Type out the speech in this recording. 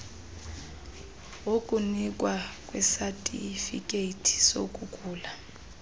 wokunikwa kwesatifikhethi sokugula